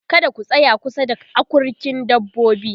kada ku tsaya kusa da akurkin dabbobi